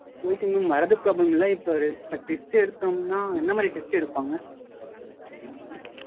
Okay mam வரது problem இல்ல இப்போ test எடுத்தோம்னா எந்த மாதிரி test எடுப்பாங்க?